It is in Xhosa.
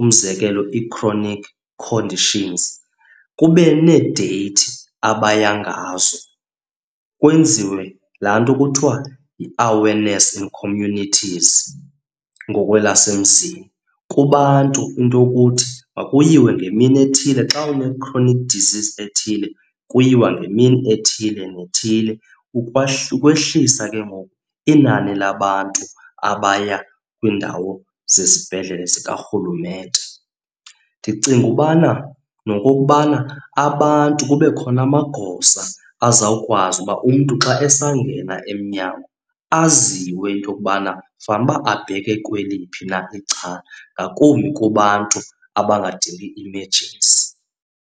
umzekelo ii-chronic conditions, kube needeyithi abaya ngazo kwenziwe laa nto kuthiwa yi-awareness in communities ngokwelasemzini, kubantu into yokuthi makuyiwe ngemini ethile. Xa une-chronic disease ethile kuyiwa ngemini ethile ne ethile ukwehlisa ke ngoku inani labantu abaya kwiindawo zezibhedlele zikarhulumente. Ndicinga ubana nokokubana abantu kube khona amagosa azawukwazi uba umntu xa esangena emnyango aziwe into yokubana fanuba abheke kweliphi na icala ngakumbi kubantu abadingi imejensi.